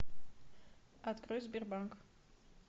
открой сбербанк